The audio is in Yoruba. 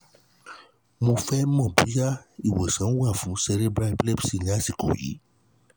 mo fẹ́ mọ̀ bóyá ìwòsàn w ní à fún cerebral epilepsy ní àsìkò yìí